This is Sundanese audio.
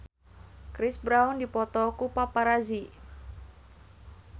Chris Brown dipoto ku paparazi